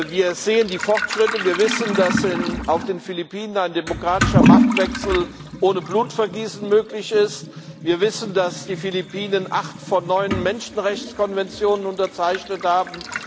Wir sehen die Fortschritte, wir wissen, dass auf den Philippinen ein demokratischer Machtwechsel ohne Blutvergießen möglich ist, wir wissen, dass die Philippinen acht von neun Menschenrechtskonventionen unterzeichnet haben.